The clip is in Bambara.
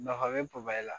Nafa bɛ la